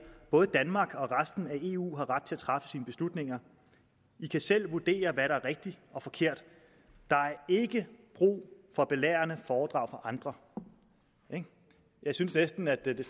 både danmark og resten af eu har ret til selv at træffe beslutninger i kan selv vurdere hvad der er rigtigt og forkert der er ikke brug for belærende foredrag fra andre jeg synes næsten at det